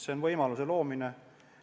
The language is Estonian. See on võimaluse loomine.